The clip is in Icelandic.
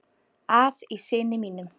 að í syni mínum